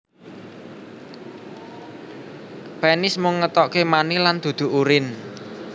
Penis mung ngetokaké mani lan dudu urin